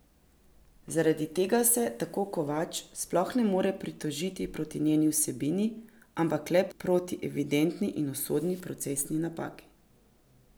Zaradi tega se, tako Kovač, sploh ne more pritožiti proti njeni vsebini, ampak le proti evidentni in usodni procesni napaki.